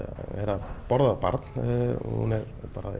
að borða barn hún er